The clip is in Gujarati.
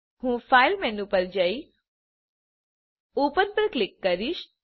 હું ફાઇલ મેનુ પર જઈ ઓપન પર ક્લિક કરીશ